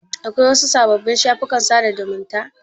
Akwai wasu sababbin shafukan sada zumunta?